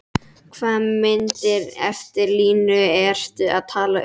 Hvaða myndir eftir Lúnu ertu að tala um?